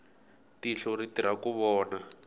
tihlo ri tirha ku vona